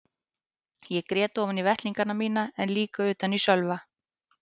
Ég grét ofan í vettlingana mína en líka utan í Sölva.